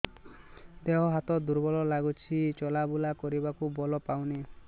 ଦେହ ହାତ ଦୁର୍ବଳ ଲାଗୁଛି ଚଲାବୁଲା କରିବାକୁ ବଳ ପାଉନି